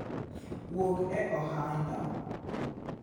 wuog e ohanda